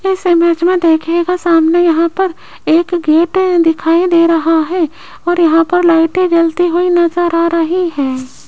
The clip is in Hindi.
इस इमेज में देखियेगा सामने यहां पर एक गेट दिखाई दे रहा है और यहां पर लाइटें जलती हुई नजर आ रही हैं।